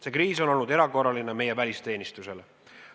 See kriis on olnud erakorraline ka meie välisteenistusele.